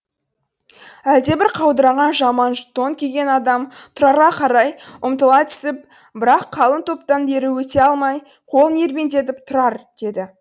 әлдебір қаудыраған жаман тон киген адам тұрарға қарай ұмтыла түсіп бірақ қалың топтан бері өте алмай қолын ербеңдетіп тұрар деді